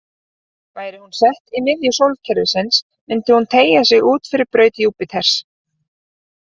Væri hún sett í miðju sólkerfisins myndi hún teygja sig út fyrir braut Júpíters.